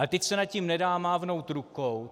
Ale teď se nad tím nedá mávnout rukou.